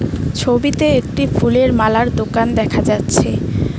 ছবিতে একটি ফুলের মালার দোকান দেখা যাচ্ছে।